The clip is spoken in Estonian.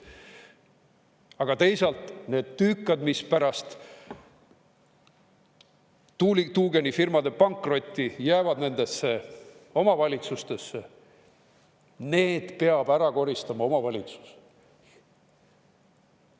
Aga teisalt, need tüükad, mis pärast tuugenifirmade pankrotti jäävad nendesse omavalitsustesse, need peab ära koristama omavalitsus.